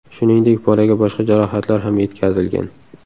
Shuningdek, bolaga boshqa jarohatlar ham yetkazilgan.